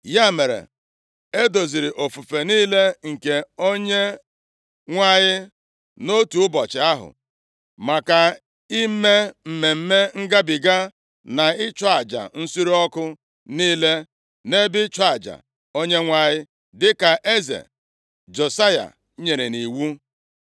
Ya mere, e doziri ofufe niile nke Onyenwe anyị nʼotu ụbọchị ahụ, maka ime Mmemme Ngabiga na ịchụ aja nsure ọkụ niile nʼebe ịchụ aja Onyenwe anyị, dịka eze Josaya nyere nʼiwu.